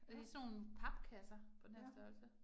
Ja. Ja